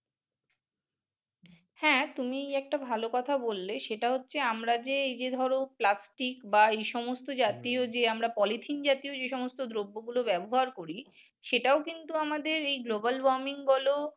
হ্যা তুমি একটা ভাল কথা বললে। সেটা হচ্ছে আমরা যে এই যে ধরো plastic বা এই সমস্ত জাতীয় যে আমরা পলিথিন জাতীয় যে সমস্ত দ্রব্যগুলো ব্যবহার করি সেটাও কিন্তু আমাদের এই global warming বলো